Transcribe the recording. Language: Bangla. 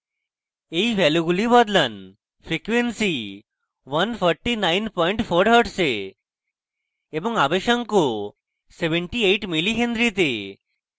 এই ভ্যালুগুলি বদলান